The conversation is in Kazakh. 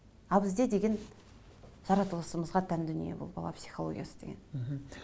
ал бізде деген жаратылысымызға тән дүние бұл бала психологиясы деген мхм